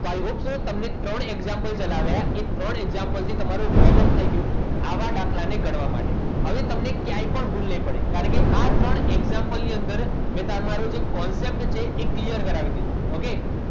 અત્યારે હાલ તમને ત્રણ example જણાવ્યા એ ત્રણ example થી તમારું વોર્મ અપ થઈ ગયું આવા દાખલા ને ગણવા માટે હવે તમને ક્યાંય પણ ભૂલ નહીં પડે કારણ કે આ ત્રણ example ની અંદર જે તમારો concept છે એ clear કરાવી દીધો okay